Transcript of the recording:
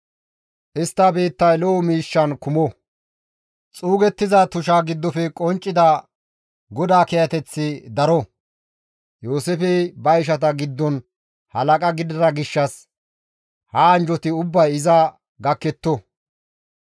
Istta biittay lo7o miishshan kumo; Xuugettiza tusha giddofe qonccida GODAA kiyateththi daro; Yooseefey ba ishata giddon halaqa gidida gishshas ha anjjoti ubbay iza gakketto.